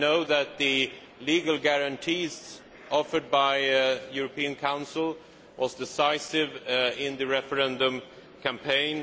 I know that the legal guarantees offered by the European Council were decisive in the referendum campaign.